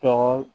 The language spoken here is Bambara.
Tɔgɔ